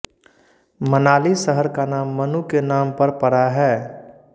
मनाली शहर का नाम मनु के नाम पर पड़ा है